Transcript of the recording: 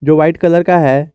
White colour का है।